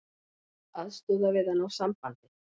Aðstoða við að ná sambandi